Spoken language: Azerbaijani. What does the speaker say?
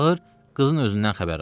Çağır, qızın özündən xəbər al.